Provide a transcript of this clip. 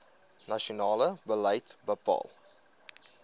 nasionale beleid bepaal